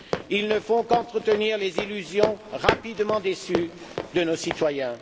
Ils ne font qu'entretenir les illusions, rapidement déçues, de nos citoyens.